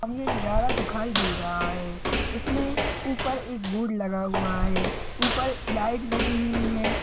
सामने नज़ारा दिखायी दे रहा है इसमे उपर एक बोर्ड लगा हुआ है ऊपर लाइट लगी हुई है।